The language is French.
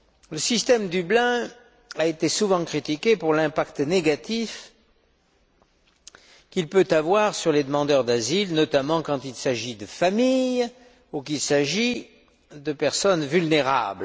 Le système de Dublin a souvent été critiqué pour l'impact négatif qu'il peut avoir sur les demandeurs d'asile, notamment quand il s'agit de familles ou de personnes vulnérables.